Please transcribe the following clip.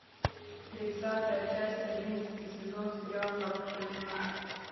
тридцатая часть одиннадцатый сезон сериал хорошая жена